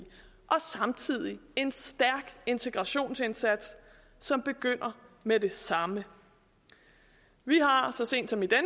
og samtidig en stærk integrationsindsats som begynder med det samme vi har har så sent som i den